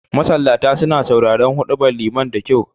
Masallata suna sauraren huɗubar liman da kyau